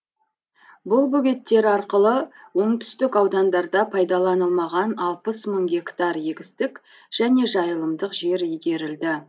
бұл бөгеттер арқылы оңтүстік аудандарда пайдаланылмаған алпыс мың гектар егістік және жайылымдық жер игерілді